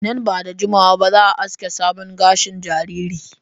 Nan ba da jimawa ba za a aske gashin sabon jariri.